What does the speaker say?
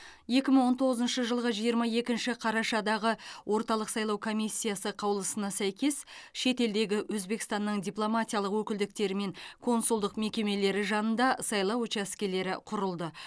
екі мың он тоғызыншы жылғы жиырма екінші қарашадағы орталық сайлау комиссиясы қаулысына сәйкес шетелдегі өзбекстанның дипломатиялық өкілдіктері мен консулдық мекемелері жанында сайлау учаскелері құрылды